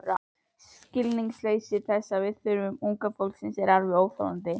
Skilningsleysi þess á þörfum unga fólksins er alveg óþolandi.